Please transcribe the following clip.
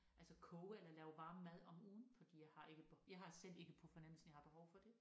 Altså koge eller lave varm mad om ugen fordi jeg har ikke jeg har selv ikke på fornemmelsen jeg har behov for det